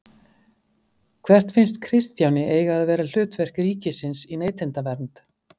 Hvert finnst Kristjáni eiga að vera hlutverk ríkisins í neytendavernd?